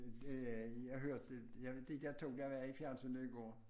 Det det jeg hørte jeg ved ikke de to der var i fjensynet i går